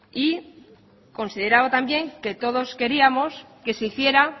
y consideraba también que todos queríamos que se hiciera